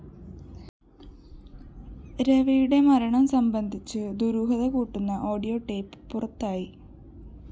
രവിയുടെ മരണം സംബന്ധിച്ച ദുരൂഹത കൂട്ടുന്ന ഓഡിയോ ടേപ്പ്‌ പുറത്തായി